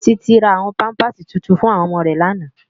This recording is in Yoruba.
Titi rá áwòn pàmpásí túntún fún òmò rè làná